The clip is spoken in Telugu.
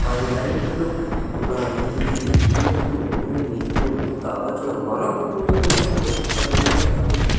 పది లైట్లు ఉన్నాయి ఇందుకు మీకు కావల్సిన మరొక్క పూల కుండీ కూడా ఇక్కడ ఉంది అలాగే--